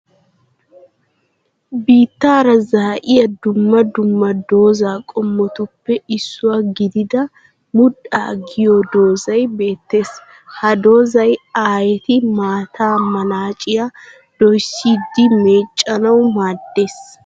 Biittara zaa'iyaa dumma dumma doza qomottuppe issuwaa gidida mudhdha giyo dozzay beettes. Ha dozzay aayetti maattaa manacciya doyssidi meecanawu maaddees.